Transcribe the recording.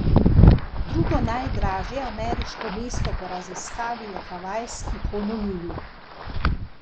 Drugo najdražje ameriško mesto po raziskavi je havajski Honolulu.